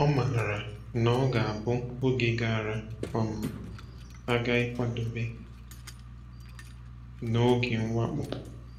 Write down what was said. O maara na ọ ga-abụ oge gara um aga ịkwadebe n’oge mwakpo.